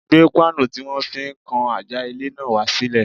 Gbé páànù tí wọ́n fi ń kan àjà ilé náà wá sílẹ̀.